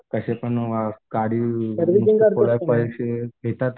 कसेपण गाडी पैसे घेतात.